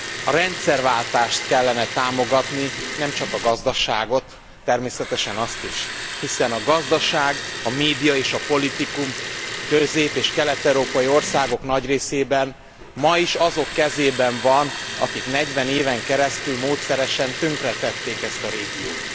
A rendszerváltást kellene támogatni, nem csak a gazdaságot, természetesen azt is hiszen a gazdaság, a média és a politikum közép és kelet európai országok nagy részében ma is azok kezében van, akik negyven éven keresztül módszeresen tönkretették ezt a régiót.